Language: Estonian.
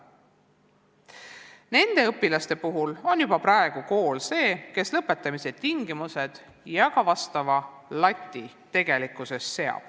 Nende õpilaste puhul on kool juba praegu tegelikult see, kes seab lõpetamise tingimused ja ka vastava lati.